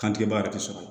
Kantigɛba yɛrɛ tɛ sɔrɔ